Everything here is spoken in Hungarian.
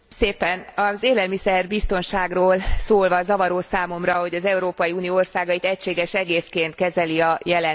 Az élelmiszer biztonságról szólva zavaró számomra, hogy az Európai Unió országait egységes egészként kezeli a jelentés.